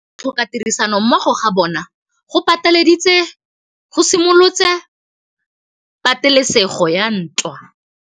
Go tlhoka tirsanommogo ga bone go simolotse patêlêsêgô ya ntwa.